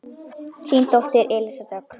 Þín dóttir Elísa Dögg.